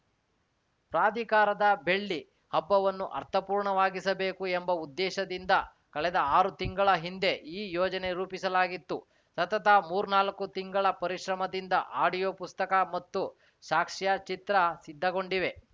ಪ್ರಾಧಿಕಾರದ ಬೆಳ್ಳಿ ಹಬ್ಬವನ್ನು ಅರ್ಥಪೂರ್ಣವಾಗಿಸಬೇಕು ಎಂಬ ಉದ್ದೇಶದಿಂದ ಕಳೆದ ಆರು ತಿಂಗಳ ಹಿಂದೆ ಈ ಯೋಜನೆ ರೂಪಿಸಲಾಗಿತ್ತು ಸತತ ಮೂರ್ನಾಲ್ಕು ತಿಂಗಳ ಪರಿಶ್ರಮದಿಂದ ಆಡಿಯೋ ಪುಸ್ತಕ ಮತ್ತು ಸಾಕ್ಷ್ಯಚಿತ್ರ ಸಿದ್ಧಗೊಂಡಿವೆ